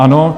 Ano.